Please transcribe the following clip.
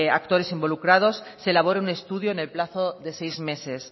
actores involucrados se elabore un estudio en el plazo de seis meses